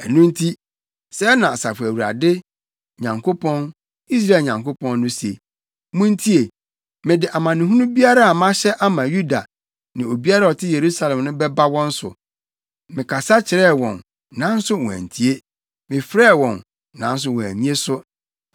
“Ɛno nti, sɛɛ na Asafo Awurade Nyankopɔn, Israel Nyankopɔn no se: ‘Muntie! Mede amanehunu biara a mahyɛ ama Yuda ne obiara a ɔte Yerusalem no bɛba wɔn so. Mekasa kyerɛɛ wɔn, nanso wɔantie, mefrɛɛ wɔn nanso wɔannye so.’ ”